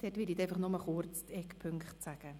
Bei ihnen werde ich nur kurz die Eckpunkte nennen.